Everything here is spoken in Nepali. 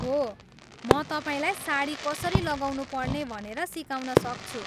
हो, म तपाईँलाई साडी कसरी लगाउनुपर्ने भनेर सिकाउन सक्छु।